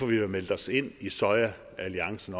vi har meldt os ind i sojaalliancen